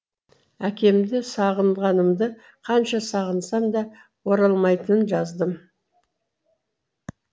әкемді сағынғанымды қанша сағынсам да оралмайтынын жаздым